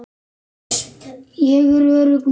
Ég er örugg núna.